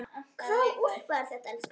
Hvaða úlpa er þetta, elskan?